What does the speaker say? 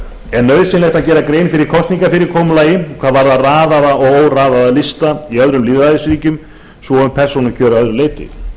er nauðsynlegt að gera grein fyrir kosningafyrirkomulagi hvað varðar raðaða og óraðaða lista í öðrum lýðræðisríkjum svo og um persónukjör að öðru leyti